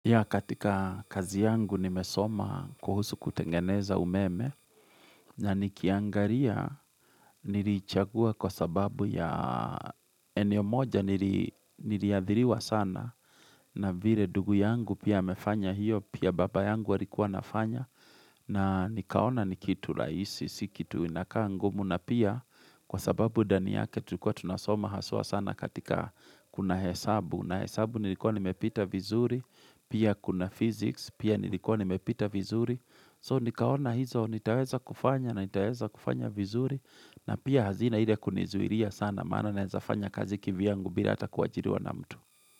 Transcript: Ya katika kazi yangu nimesoma kuhusu kutengeneza umeme na nikiangaria niriichagua kwa sababu ya eneo moja niri niriadhiriwa sana na vire ndugu yangu pia amefanya hiyo pia baba yangu alikua anafanya na nikaona ni kitu rahisi, si kitu inakaa ngumu na pia kwa sababu dani yake tulikuwa tunasoma haswa sana katika kuna hesabu. Na hesabu nilikuwa nimepita vizuri Pia kuna physics Pia nilikuwa nimepita vizuri So nikaona hizo nitaweza kufanya na nitaweza kufanya vizuri na pia hazina ile kunizuiria sana Maana na naeza fanya kazi kivyangu bila atakuwa kuajiriwa na mtu.